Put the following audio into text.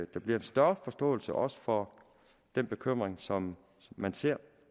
der bliver en større forståelse også for den bekymring som man ser